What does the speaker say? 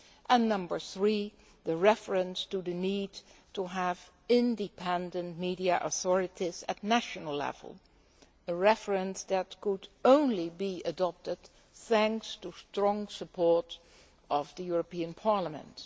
and number three reference to the need to have independent media authorities at national level, a reference that could only be adopted thanks to the strong support of the European Parliament.